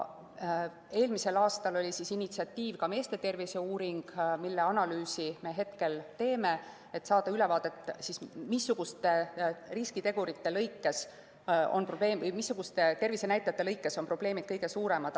Eelmisel aastal oli initsiatiiv ka meeste tervise uuring, mille analüüsi me hetkel teeme, et saada ülevaadet, missuguste riskitegurite või tervisenäitajate puhul on probleemid kõige suuremad.